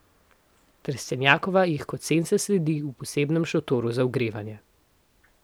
Trstenjakova jih kot senca sledi v posebnem šotoru za ogrevanje.